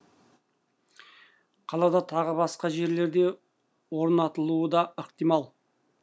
қалада тағы басқа жерлерде орнатылуы да ықтимал